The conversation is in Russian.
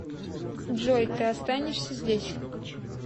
джой ты останешься здесь